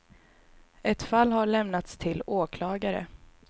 Ett fall har lämnats till åklagare.